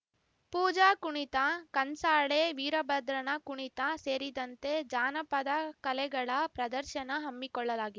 ಪೂಜಾ ಕುಣಿತ ಕಂಸಾಳೆ ವೀರಭದ್ರನ ಕುಣಿತ ಸೇರಿದಂತೆ ಜಾನಪದಕಲೆಗಳ ಪ್ರದರ್ಶನ ಹಮ್ಮಿಕೊಳ್ಳಲಾಗಿ